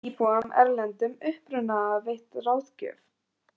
Íbúum af erlendum uppruna veitt ráðgjöf